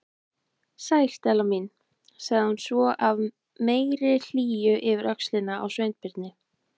Sæl, Stella mín- sagði hún svo af meiri hlýju yfir öxlina á Sveinbirni.